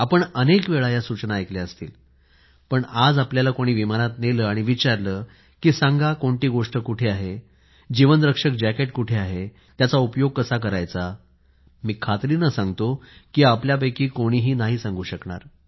आपण शंभर वेळा या सूचना ऐकल्या असतील पण आज आपल्याला कोणी विमानात नेले आणि विचारले की सांगा कोणती गोष्ट कुठे आहे जीवन रक्षक जाकेट कुठे आहे त्याचा उपयोग कसा करायचा मी खात्रीने सांगतो की आपल्यापैकी कोणीही नाही सांगू शकणार